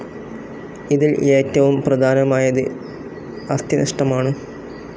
ഇതിൽ ഏറ്റവും പ്രധാനമായത് അസ്ഥിനഷ്ടമാണ്.